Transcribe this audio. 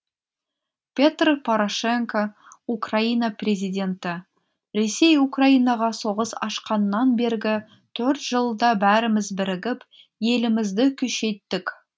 петр порошенко украина президенті ресей украинаға соғыс ашқаннан бергі төрт жылда бәріміз бірігіп елімізді күшейттік